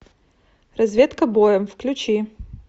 разведка боем включи